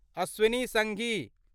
Ashwin Sanghi